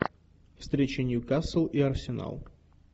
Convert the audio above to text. встреча ньюкасл и арсенал